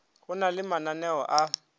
go na le mananeo a